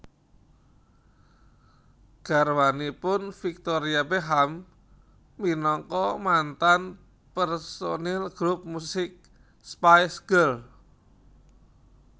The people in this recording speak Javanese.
Garwanipun Victoria Beckham minangka mantan personil grup musik Spice Girls